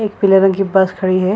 एक पीला रंग की बस खड़ी हैं ।